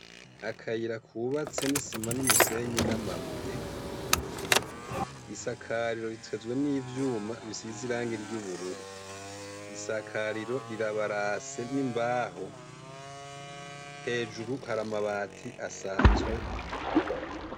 Akayira kubatse n'isima n'umusenyi n'amabuye isakariro ritezwe n'ivyuma bisize irange ry' ubururu isakariro rirabarase n'imbaho hejuru hari amabati asanzwe.